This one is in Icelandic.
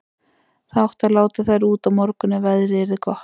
Það átti að láta þær út á morgun ef veðrið yrði gott.